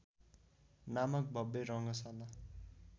नामक भव्य रङ्गशाला